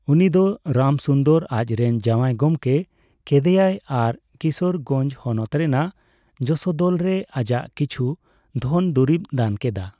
ᱩᱱᱤᱫᱚ ᱨᱟᱢᱥᱩᱱᱫᱚᱨ ᱟᱡᱨᱮᱱ ᱡᱟᱣᱟᱭ ᱜᱚᱢᱠᱮ ᱠᱮᱫᱮᱭᱟᱭ ᱟᱨ ᱠᱤᱥᱳᱨᱜᱚᱧᱡᱽ ᱦᱚᱱᱚᱛ ᱨᱮᱱᱟᱜ ᱡᱚᱥᱳᱫᱚᱞ ᱨᱮ ᱟᱡᱟᱜ ᱠᱤᱪᱷᱩ ᱫᱷᱚᱱᱼᱫᱩᱨᱤᱵᱮ ᱫᱟᱱ ᱠᱮᱫᱟ ᱾